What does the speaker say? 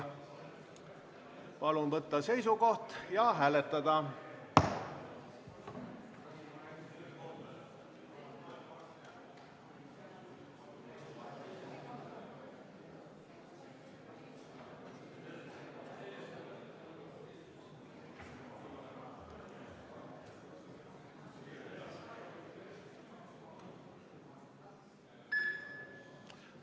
Palun võtta seisukoht ja hääletada!